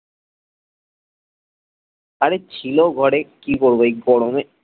আরে ছিল ঘরে কি করবো এই গরমে